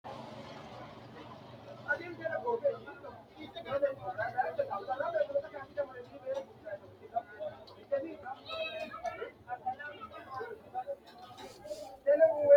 tini maa xawissanno misileeti ? mulese noori maati ? hiissinannite ise ? tini kultannori maati? Suuqqe tini hiitto bayiichcho nootte? Maricho woroonnise?